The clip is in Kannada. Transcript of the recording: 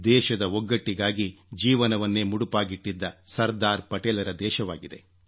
ದೇಶದ ಒಗ್ಗಟ್ಟಿಗಾಗಿ ಜೀವವನ್ನೇ ಮುಡಿಪಾಗಿಟ್ಟಿದ್ದ ಸರ್ದಾರ ಪಟೇಲರ ದೇಶವಾಗಿದೆ